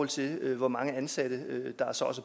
til hvor mange ansatte der så er